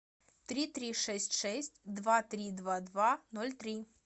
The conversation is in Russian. три три шесть шесть два три два два ноль три